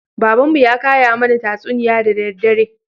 Baban mu ya kaya mana tatsuniya da daddare